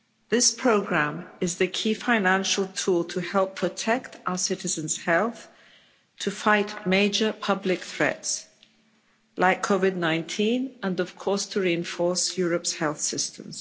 This programme is the key financial tool to help protect our citizens' health, to fight major public threats like COVID 19, and of course to reinforce Europe's health systems.